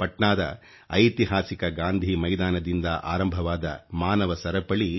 ಪಟ್ನಾದ ಐತಿಹಾಸಿಕ ಗಾಂಧೀ ಮೈದಾನದಿಂದ ಆರಂಭವಾದ ಮಾನವ ಸರಪಳಿ